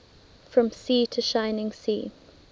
from sea to shining sea